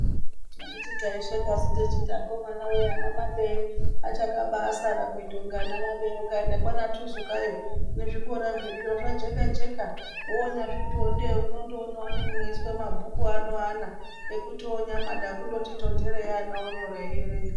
Handiti taishekasu techiti akomana wee ana maBeye achakabasara kuita kunga ana maBee ukaenda kwana Tuzukayo nezvikora zviriyo zvajeka jeka wonyazvitiwo ndee unondoonawo nemunoiswa mabhuku ano eana ekuti wonyamada kundoti tonterei ana onyora eierenga.